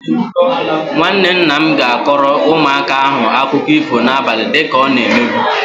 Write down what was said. Nwanne nna m ga-akọrọ ụmụaka ahụ akụkọ ifo na-abali dịka ọ na-emebu.